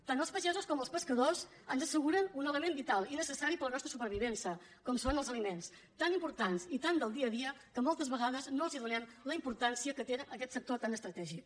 tant els pagesos com els pescadors ens asseguren un element vital i necessari per a la nostra supervivència com són els aliments tan importants i tan del dia a dia que moltes vegades no els donem la importància que té aquest sector tan estratègic